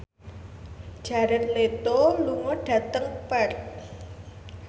Jared Leto lunga dhateng Perth